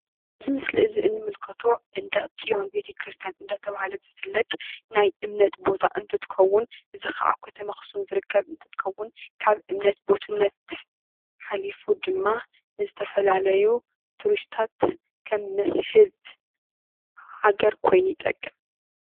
እዚ ምስሊ እዚ እንምልከቶ መንደቅ ፅዮን ቤተክርስትያን እናተባሃለ ዝፍለጥ ናይ እምነት ቦታ እንትከውን እዚ ከዓ ኣብ ከተማ ኣክሱም ዝርከብ እንትከውን ካብ እምነት ቦትነት ሓሊፉ ድማ ንዝተፈላለዩ ትሪስትታት ከም መስሕብ ሃገር ኮይኑ ይጠቅም፡፡